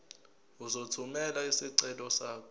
uzothumela isicelo sakho